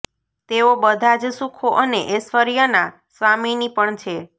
તેઓ બધા જ સુખો અને ઐશ્વર્યનાં સ્વામિની પણ છે